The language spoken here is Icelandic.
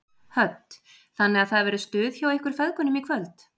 Hödd: Þannig að það verður stuð hjá ykkur feðgunum í kvöld?